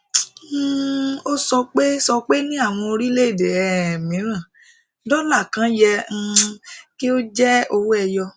um o sọpe sọpe ni àwọn orílẹ èdè um miran dola kàn yẹ um kí o je owó ẹyọ